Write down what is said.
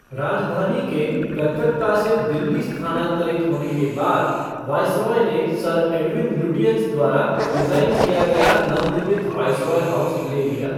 राजधानी के कलकत्ता से दिल्ली स्थानांतरित होने के बाद, वाइसरॉय ने सर एडविन लुटियंस द्वारा डिज़ाइन किया गया नवनिर्मित वाइसरॉय हाउस ले लिया।